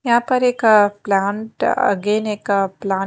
यहाँ पर एक अह प्लांट अगेन एक प्लांट --